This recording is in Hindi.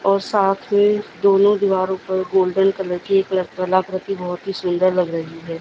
और साथ में दोनों दीवारों पर गोल्डन कलर की एक कलाकृति बहोत ही सुंदर लग रही है।